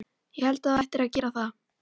Ég held að þú ættir að gera það.